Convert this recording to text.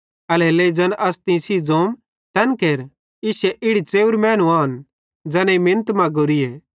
एल्हेरेलेइ ज़ैन अस तीं सेइं ज़ोतम तैन केर इश्शे इड़ी च़ेव्रे मैनू आन ज़ैनेईं मिनत मगोरीए